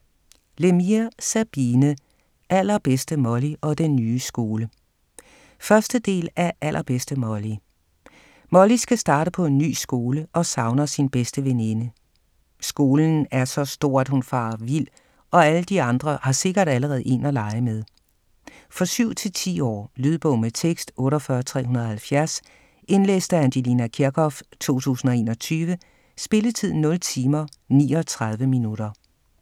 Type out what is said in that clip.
Lemire, Sabine: Allerbedste Molly - og den nye skole 1. del af Allerbedste Molly. Molly skal starte på en ny skole og savner sin bedste veninde. Skolen er så stor, at hun farer vild, og alle de andre har sikkert allerede en at lege med. For 7-10 år. Lydbog med tekst 48370 Indlæst af Angelina Kirchhoff, 2021. Spilletid: 0 timer, 39 minutter.